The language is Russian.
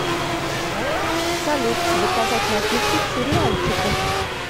салют заказать напитки к сериальчику